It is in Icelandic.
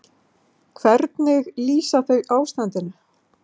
Hvernig lýsa þau ástandinu?